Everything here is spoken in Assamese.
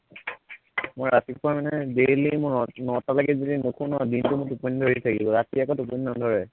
মই ৰাতিপুৱা মানে daily মই নটালৈকে যদি নোশুও ন দিনটো মোৰ টোপনী ধৰি থাকিব, ৰাতি আকৌ টোপনী নধৰে